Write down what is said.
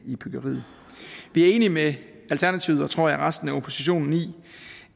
i byggeriet vi er enige med alternativet og tror jeg resten af oppositionen i